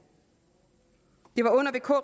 det var under vk